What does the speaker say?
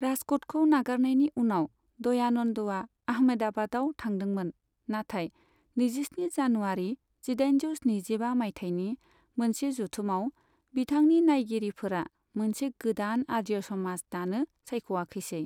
राजकटखौ नागारनायनि उनाव, दयानन्दआ अहमदाबादआव थांदोंमोन, नाथाय नैजिस्नि जानुवारि जिदाइनजौ स्निजिबा मायथाइनि मोनसे जथुमाव बिथांनि नायगिरिफोरा मोनसे गोदान आर्य समाज दानो सायख'याखैसै।